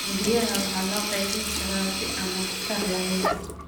Biyaha waxaa loo qaybin karaa si aan waxtar lahayn.